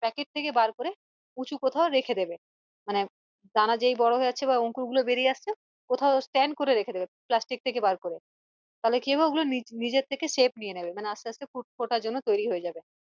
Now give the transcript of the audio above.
Packet থেকে বার করে উচুঁ কোথাও রেখে দিবে মানে দানা যেই বড়ো হয়ে যাচ্ছ বা অঙ্কুর গুলো বেরিয়ে আসছে কোথাও stand করে রেখে দিবে plastic থেকে বার করে তালে কি হবে ওগুলো বীজ এর থেকে shape নিয়ে নেবে মানে আসতে আসতে ফোটার জন্য তৈরী হয়ে যাবে